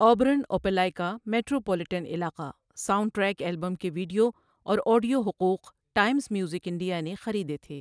Auburn Opelika metropolitan علاقہ soundtrack album کے video اور آڈیو حقوق ٹائمز میوزک انڈیا نے خریدے تھے۔